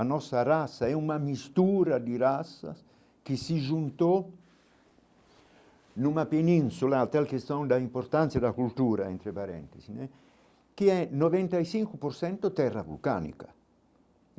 A nossa raça é uma mistura de raças que se juntou numa península, até a questão da importância da cultura entre parentes né, que é noventa e cinco por cento terra vulcânica.